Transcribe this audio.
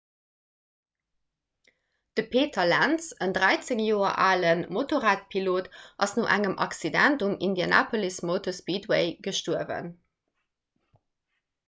de peter lenz en 13 joer ale motorradpilot ass no engem accident um indianapolis motor speedway gestuerwen